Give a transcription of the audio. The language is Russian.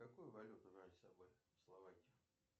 какую валюту брать с собой в словакию